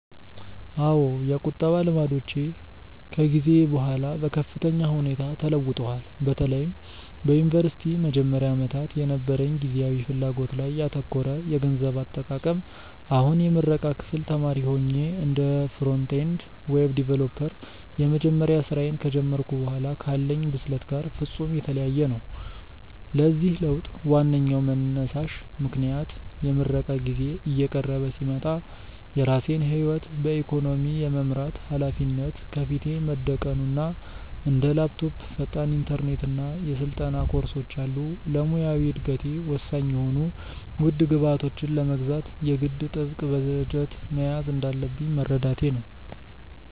አዎ፣ የቁጠባ ልማዶቼ ከጊዜ በኋላ በከፍተኛ ሁኔታ ተለውጠዋል፤ በተለይም በዩኒቨርሲቲ መጀመሪያ ዓመታት የነበረኝ ጊዜያዊ ፍላጎት ላይ ያተኮረ የገንዘብ አጠቃቀም አሁን የምረቃ ክፍል ተማሪ ሆኜ እና እንደ ፍሮንት-ኤንድ ዌብ ዲቨሎፐር የመጀመሪያ ስራዬን ከጀመርኩ በኋላ ካለኝ ብስለት ጋር ፍጹም የተለያየ ነው። ለዚህ ለውጥ ዋነኛው መንሳሽ ምክንያት የምረቃ ጊዜዬ እየቀረበ ሲመጣ የራሴን ህይወት በኢኮኖሚ የመምራት ሃላፊነት ከፊቴ መደቀኑ እና እንደ ላፕቶፕ፣ ፈጣን ኢንተርኔት እና የስልጠና ኮርሶች ያሉ ለሙያዊ እደገቴ ወሳኝ የሆኑ ውድ ግብዓቶችን ለመግዛት የግድ ጥብቅ በጀት መያዝ እንዳለብኝ መረዳቴ ነው።